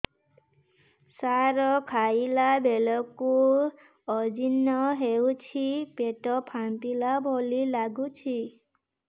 ସାର ଖାଇଲା ବେଳକୁ ଅଜିର୍ଣ ହେଉଛି ପେଟ ଫାମ୍ପିଲା ଭଳି ଲଗୁଛି